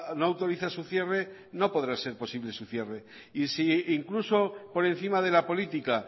no autoriza su cierre no podrá ser posible su cierre y si incluso por encima de la política